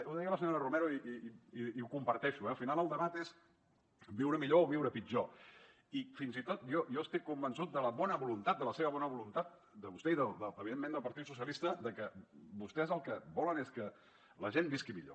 ho deia la senyora romero i ho comparteixo eh al final el debat és viure millor o viure pitjor i fins i tot jo estic convençut de la bona voluntat de la seva bona voluntat de vostè i evidentment del partit socialista que vostès el que volen és que la gent visqui millor